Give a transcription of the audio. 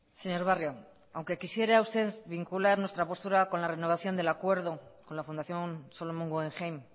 señor barrio aunque quisiera usted vincular nuestra postura con la renovación del acuerdo con la fundación solomon guggenheim